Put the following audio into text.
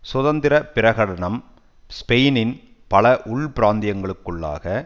சுதந்திர பிரகடனம் ஸ்பெயினின் பல உள் பிராந்தியங்களுக்குள்ளாக